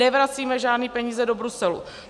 Nevracíme žádné peníze do Bruselu.